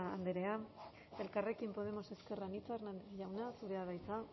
andrea elkarrekin podemos ezker anitza hernández jauna zurea da hitza